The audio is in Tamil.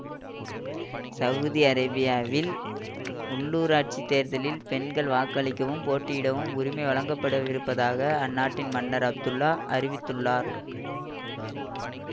சவுதி அரேபியாவில் உள்ளூராட்சி தேர்தல்களில் பெண்கள் வாக்களிக்கவும் போட்டியிடவும் உரிமை வழங்கப்படவிருப்பதாக அந்நாட்டின் மன்னர் அப்துல்லா அறிவித்துள்ளார்